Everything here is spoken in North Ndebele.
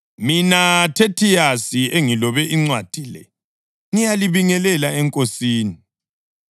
Mina Thethiyasi, engilobe incwadi le, ngiyalibingelela eNkosini.